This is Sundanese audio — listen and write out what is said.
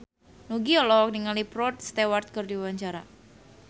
Nugie olohok ningali Rod Stewart keur diwawancara